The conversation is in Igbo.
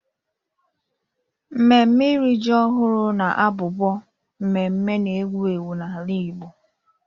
Nmemme iri ji ọhụrụ na-abụbu nmemme na-ewu ewu n'ala Igbo